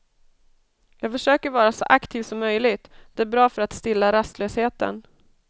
Jag försöker vara så aktiv som möjligt, det är bra för att stilla rastlösheten.